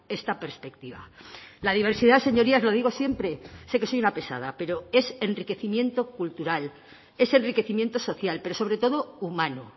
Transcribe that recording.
esta perspectiva la diversidad señorías lo digo siempre sé que soy una pesada pero es enriquecimiento cultural es enriquecimiento social pero sobre todo humano